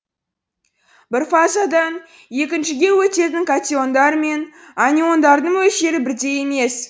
бір фазадан екіншіге өтетін катиондар мен аниондардың мөлшері бірдей емес